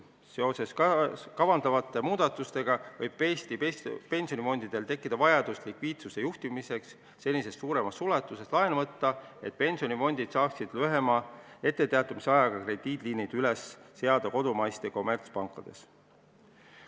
Seoses kavandatavate muudatustega võib Eesti pensionifondidel tekkida vajadus likviidsuse juhtimiseks senisest suuremas ulatuses laenu võtta, et pensionifondid saaksid lühema etteteatamisajaga krediidiliinid üles seada kodumaistes kommertspankades.